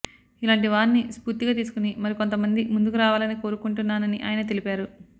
ఇలాంటి వారిని స్పూర్తిగా తీసుకుని మరికొంత మంది ముందుకు రావాలని కోరుకుంటున్నానని ఆయన తెలిపారు